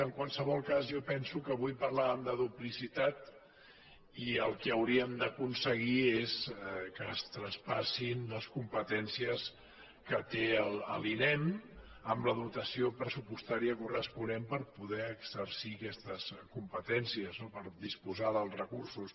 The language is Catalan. en qualsevol cas jo penso que avui parlàvem de dupli·citat i el que hauríem d’aconseguir és que es traspas·sin les competències que té l’inem amb la dotació pressupostària corresponent per poder exercir aquestes competències no per disposar dels recursos